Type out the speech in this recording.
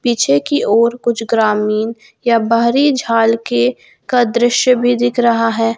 पीछे की और कुछ ग्रामीण या बाहरी झाल के का दृश्य भी दिख रहा है।